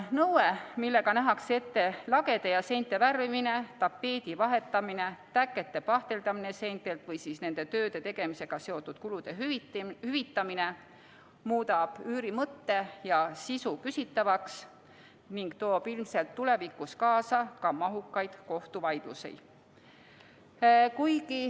Nõue, millega nähakse ette lagede ja seinte värvimine, tapeedi vahetamine, täkete pahteldamine seintel või nende tööde tegemisega seotud kulude hüvitamine, muudab üüri mõtte ja sisu küsitavaks ning toob ilmselt tulevikus kaasa ka mahukaid kohtuvaidlusi.